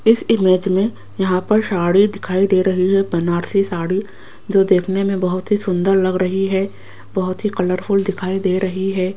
इस इमेज में यहां पर साड़ी दिखाई दे रही है बनारसी साड़ी जो देखने में बहोत ही सुंदर लग रही है बहोत ही कलरफुल दिखाई दे रही है।